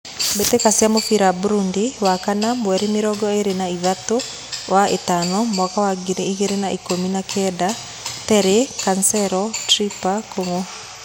Mbĩtĩka cia mũbira Burudi wakana mweri mĩrongo ĩrĩ na ĩthatũwa ĩtano mwaka wa ngiri igĩrĩ na ikũmi na Kenda: Terĩ, Kancero, Tripa, Kung'u.